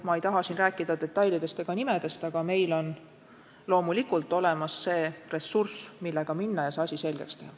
Ma ei taha siin rääkida detailidest ega nimedest, aga meil on loomulikult olemas see ressurss, millega minna ja see asi selgeks teha.